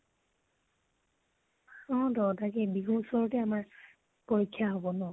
অ তহতৰ কি বিহুৰ উচৰতে আমাৰ পৰীক্ষা হব ন?